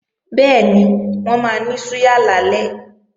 Bẹ́ẹ̀ni, wọ́n máa ní súyà lálẹ́